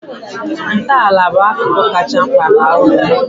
Ntọala bụ akụkụ kachasị mkpa nke ụlọ